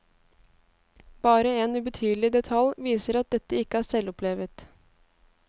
Bare en ubetydelig detalj viser at dette ikke er selvopplevet.